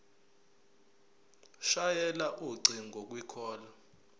shayela ucingo kwicall